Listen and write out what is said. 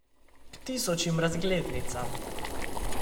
K tisočim razglednicam.